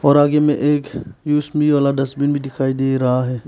में एक वाला डस्टबिन भी दिखाई दे रहा है।